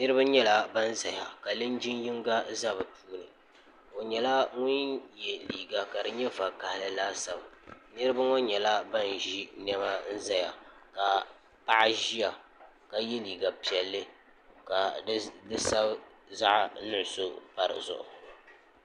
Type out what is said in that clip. niraba nyɛla ban ʒɛya ka linjin yinga ʒɛ bi puuni o nyɛla ŋun yɛ liiga ka di nyɛ vakaɣali laasabu niraba ŋo nyɛla ban ʒi niɛma ʒɛya ka paɣa ʒiya ka yɛ liiga piɛlli ka di sabi zaɣ nuɣso pa dizuɣu